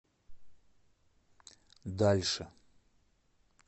дальше